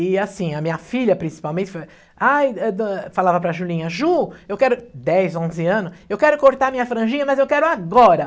E assim, a minha filha, principalmente, ai, eh, do, falava para a Julinha, Ju, eu quero... Dez, onze anos, eu quero cortar minha franjinha, mas eu quero agora.